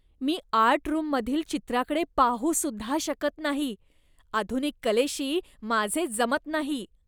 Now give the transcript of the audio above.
मी art रूममधील चित्राकडे पाहू सुद्धा शकत नाही, आधुनिक कलेशी माझे जमत नाही.